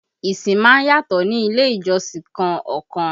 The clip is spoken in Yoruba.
Ìsìn má ń yàtọ̀ ní ilé ìjọsìn kan ọkan